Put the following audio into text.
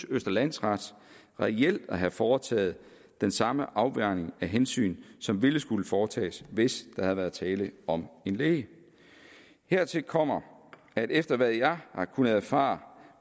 at østre landsret reelt synes at have foretaget den samme afvejning af hensyn som ville skulle foretages hvis der havde været tale om en læge hertil kommer at efter hvad jeg har kunnet erfare